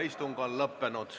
Istung on lõppenud.